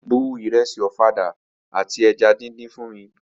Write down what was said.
Bu ìrẹsì ọ̀fadà àti eja díndín fún mi!